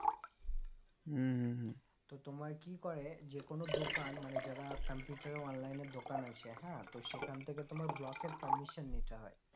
তো তোমার কি করে যেকোনো দোকান মানে যারা computer online এর দোকান আছে হ্যাঁ তো সেখান থেকে তোমার block এর permission নিতে হয়